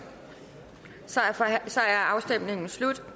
så er afstemningen slut